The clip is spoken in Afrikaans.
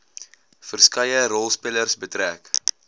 verskeie rolspelers betrek